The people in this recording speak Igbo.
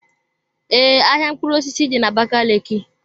Ee, ahịa mkpụrụ osisi dị na Abakaliki.